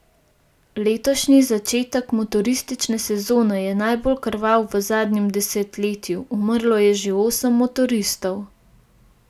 Letošnji začetek motoristične sezone je najbolj krvav v zadnjem desetletju, umrlo je že osem motoristov.